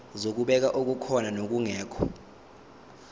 zokubheka okukhona nokungekho